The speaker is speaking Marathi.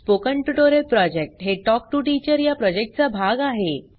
स्पोकन ट्युटोरियल प्रॉजेक्ट हे टॉक टू टीचर या प्रॉजेक्टचा भाग आहे